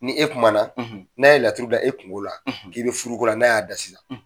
Ni e kuma na, n'a ye laturu da e kungo la, k'i bɛ furuko la n'a y'a da sisan